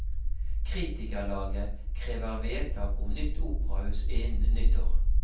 Kritikerlaget krever vedtak om nytt operahus innen nyttår.